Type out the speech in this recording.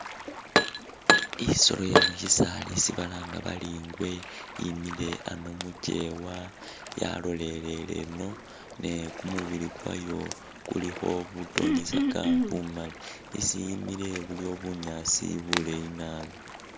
I'solo yemusisali isi balanga bari i'ngwe yimile ano mukiwa yalolelele eno ne kumubili kwayo kulikho butonyisaka bumali, isi yimile buliwo bunyaasi buleyi naabi